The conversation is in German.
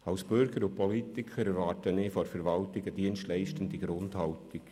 – Als Bürger und Politiker erwarte ich von der Verwaltung eine dienstleistende Grundhaltung.